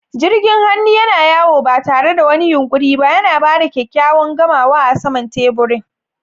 Jirgin hannu yana yawo ba tare da wani yunƙuri ba, yana ba da kyakkyawan gamawa a saman teburin.